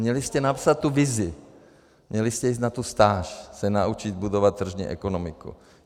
Měli jste napsat tu vizi, měli jste jít na tu stáž, se naučit budovat tržní ekonomiku.